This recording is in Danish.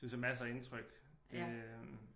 Synes at masser af indtryk det øh